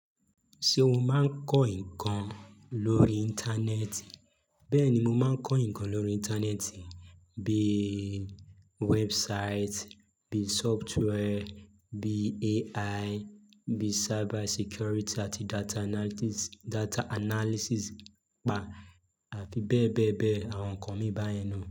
Ṣé o máa ń kọ́ nǹkan lórí Íńtánẹ́ẹ̀tì? Bẹ́ẹ̀ni, mo máa ń kọ́ nǹkan lórí Íńtánẹ́ẹ̀tì, bí i website, bí i software, bí i AI, bí i cyber security àti data analysis pa àti bẹ́ẹ̀ bẹ́ẹ̀ bẹ́ẹ̀ àwọn nǹkan mìíràn báyẹn na.